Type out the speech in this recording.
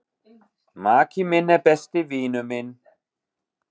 Maki minn er besti vinur minn.